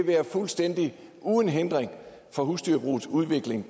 være fuldstændig uden hindring for husdyrbrugets udvikling